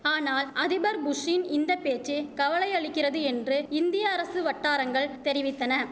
ஆனால் அதிபர் புஷ்ஷின் இந்த பேச்சு கவலையளிக்கிறது என்று இந்திய அரசு வட்டாரங்கள் தெரிவித்தன